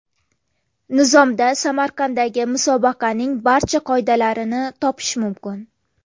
Nizomda Samarqanddagi musobaqaning barcha qoidalarini topish mumkin .